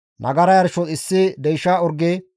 nagara yarshos issi deysha orge,